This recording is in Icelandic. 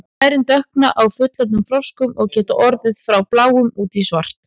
lærin dökkna á fullorðnum froskum og geta orðið frá bláum út í svart